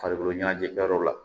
Farikolo ɲɛnajɛ kɛ yɔrɔ la